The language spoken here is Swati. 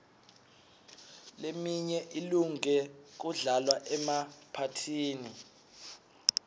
leminye ilunge kudlalwa emaphathini